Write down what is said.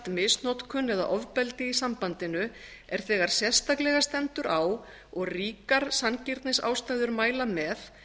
misnotkun eða ofbeldi í sambandinu er þegar sérstaklega stendur á og ríkar sanngirnisástæður mæla með